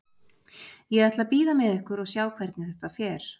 Ég ætla að bíða með ykkur og sjá hvernig þetta fer.